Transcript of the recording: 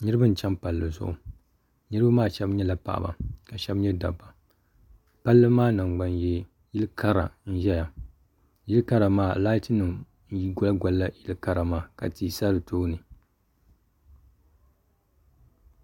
niriba n chɛni pali zuɣ' niriba maa shɛbi nyɛla paɣ' ba ka shɛbi nyɛ da ba pali maa nanigbani yɛ yili kari n ʒɛya yili kari maa laati n goli goli yili gari maa ka tihi sa di tuuni